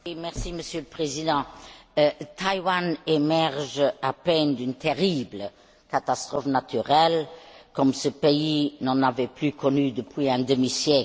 Monsieur le Président, Taïwan émerge à peine d'une terrible catastrophe naturelle, comme ce pays n'en avait plus connue depuis un demi siècle.